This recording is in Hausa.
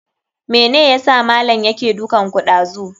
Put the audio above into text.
Mene yasa malam yake dukanku ɗazu?